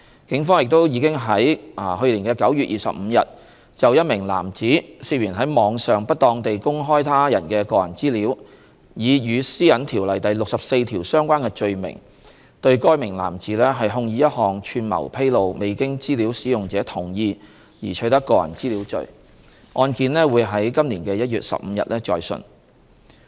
警方亦已於2019年9月25日就一名男子涉嫌於網上不當地公開他人的個人資料，以與《私隱條例》第64條相關的罪名對該名男子控以一項"串謀披露未經資料使用者同意而取得個人資料"罪，案件將於2020年1月15日再訊。